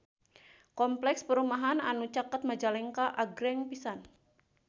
Kompleks perumahan anu caket Majalengka agreng pisan